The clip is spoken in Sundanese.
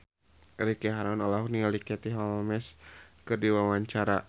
Ricky Harun olohok ningali Katie Holmes keur diwawancara